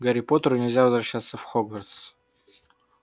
гарри поттеру нельзя возвращаться в хогвартс